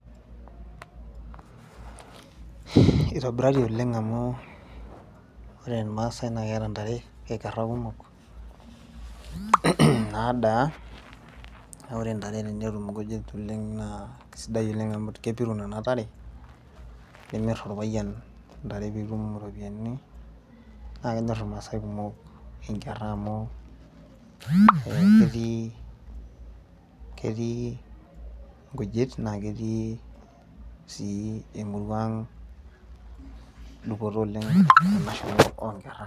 Itobiraki oleng' amu ore irmaasai naa keeta ntare, nkerra kumok nadaa naa ore ntare tenetum nkujit oleng' naa kesidai oleng' amu kepiru nena tare nimirr orpayian ntare nitum iropiyiani naa kenyorr irmaasai kumok nkerra amu ketii nkujit naa ketii sii enkop ang' dupoto oleng onkerra.